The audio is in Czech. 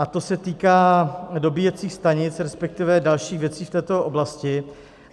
A to se týká dobíjecích stanic, respektive dalších věcí v této oblasti.